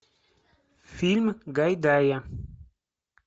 фильм гайдая